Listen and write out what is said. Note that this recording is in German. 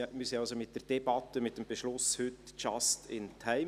Wir sind also mit der Debatte, mit dem Beschluss heute «just in time».